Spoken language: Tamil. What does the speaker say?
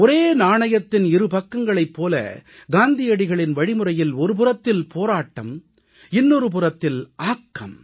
ஒரு நாணயத்தின் இருபக்கங்களைப் போல காந்தியடிகளின் வழிமுறையில் ஒருபுறத்தில் போராட்டம் இன்னொரு புறத்தில் ஆக்கம்